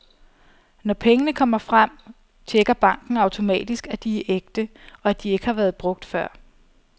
Når pengene kommer frem, checker banken automatisk, at de er ægte, og at de ikke har været brugt før.